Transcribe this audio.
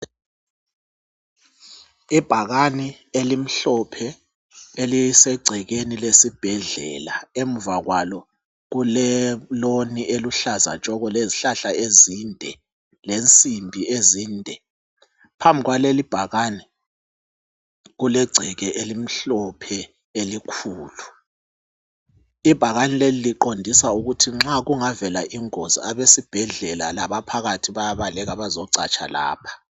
Ibhakani elimhlophe elisegcekeni lesibhedlela emuva kwalo kule loni eluhlaza tshoko lezihlahla ezinde lemsimbi ezinde phambi kwaleli ibhakani kulegceke elimhlophe elikhulu ibhakane leli liqondisa ukuthi nxa kungavela ingozi abesibhedlela labaphakathi bayabaleka bezocatsha lapha.